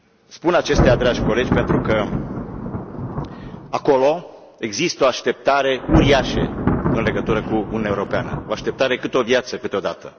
Spun acestea, dragi colegi, pentru că acolo există o așteptare uriașă în legătură cu Uniunea Europeană, o așteptare cât o viață câteodată.